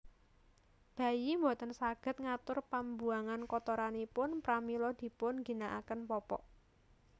Bayi boten saged ngatur pambuangan kotoranipun pramila dipun ginakaken popok